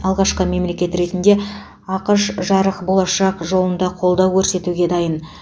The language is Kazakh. алғашқы мемлекет ретінде ақш жарық болашақ жолында қолдау көрсетуге дайын